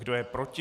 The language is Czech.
Kdo je proti?